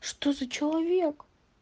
что за человек